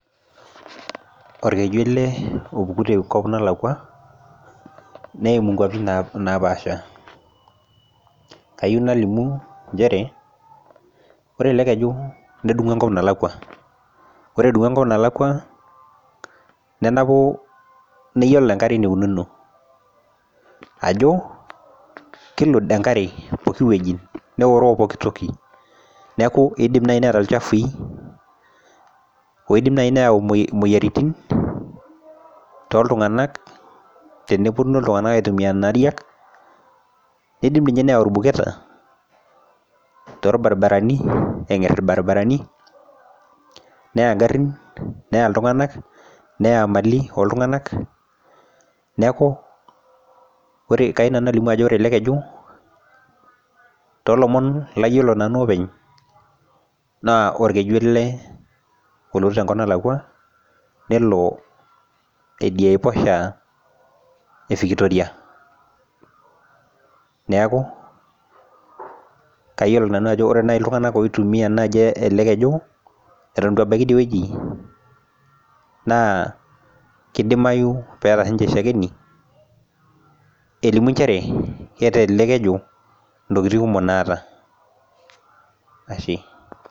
orkeju ele opuku tenkop nalakua, neimu nkaupi napaasha. kayieu nalimu, nchere ore ele eju nedung'u enkop nalakua, ore edung'u enkop nalakua nenapu niyiolo enkare enikununo, ajo kilud enkare pooki wueji, neoeroo pooki wueji. neeku eidim naaji neeta ilchafyi oidim naji neeta moyiaritin, tooltunganak, tenepuonu iltungankak aitumia nena ariak, eidim ninye neyau ilbuketa toolbaribarani neng'er ilbariabarani neya garin neya iltunaganak neya mali ooltunganak, neeku kayieu nanu nalimu ajo ore ele keju, too lomon layiolo nanu openy, naa orkeju ele olotu tenkop nalakua nelo idia aiposha e victoria. neeku kayiolo nanu ajo ore naaji iltunganak oitumia ele keju eton eitu ebaiki idie wueji naa kidimayu peeta sii ninche shakeni elimu nchere kelelk ejo ntokitin kumo naata, ashe.